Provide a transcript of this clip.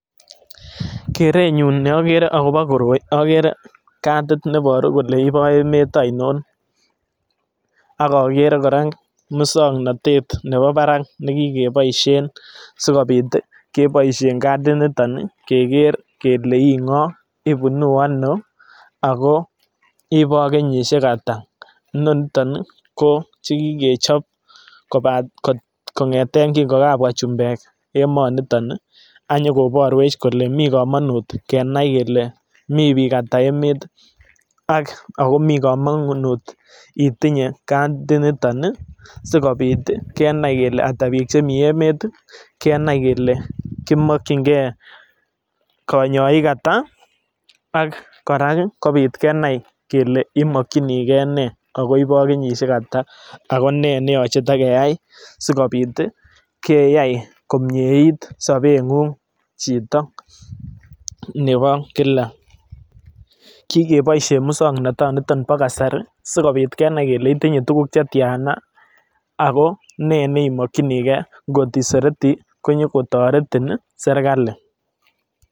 Kerenyun neokere okobo koroi okere kadit neboru kole iboo emet ainon, ak okere kora muswoknotet nebo barak nekikoboishen sikobit keboishen kadiniton keker kelee ing'o ibunu anoo akoo iboo kenyishek ataa, inoniton ii ko chekikechop kong'eten king'o kakobwa chumbek emoniton ak inyokoborwech kenai kelee mii biik ataa emet ak komii komongunet itinye katiniton sikobit kenai kelee ataa biik chemii emet kenai kelee komokying'ee konyoik ataa ak kora kobit kenai kelee imokyinikee nee ak ko iboo kenyishek ataa ak ko nee neyoche kitakeyai sikobiit keyai komnyeit sobeng'ung chito nebo kilak, kikeboishen muswoknotoniton bo kasari sikobit Kenai kelee itinye tukuk chetiana ak ko ne nemokyinikee ngot iseretii konyokotoretin serikali.